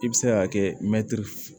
I bɛ se k'a kɛ mɛtiri